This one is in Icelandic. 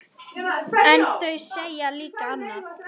En þau segja líka annað.